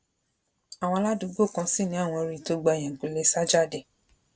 àwọn aládùúgbò kan sì ni àwọn rí i tó gba ẹyìnkùlé sá jáde